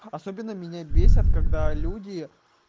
особенно меня бесит когда люди